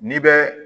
N'i bɛ